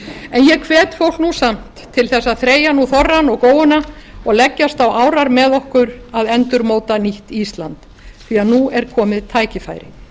en ég hvet nú fólk samt til þess að þreyja nú þorrann og góuna og leggjast á árar með okkur að endurmóta nýtt ísland því nú er komið tækifæri